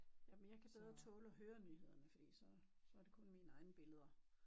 Jamen jeg kan bedre tåle at høre nyhederne fordi så så er det kun mine egne billeder